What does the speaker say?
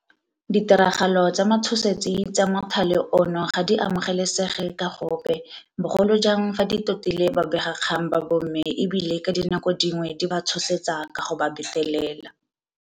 Ditiragalo tsa matshosetsi tsa mothale ono ga di amo gelesege ka gope, bogolo jang fa di totile babegakgang ba bomme e bile ka dinako dingwe di ba tshosetsa ka go ba betelela.